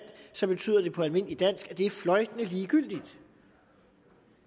så betyder det på almindeligt dansk at det er fløjtende ligegyldigt